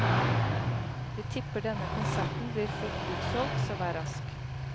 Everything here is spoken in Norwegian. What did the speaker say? Vi tipper denne konserten blir fort utsolgt, så vær rask.